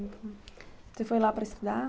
Você foi lá para estudar?